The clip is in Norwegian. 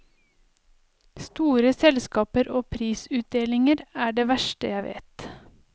Store selskaper og prisutdelinger er det verste jeg vet.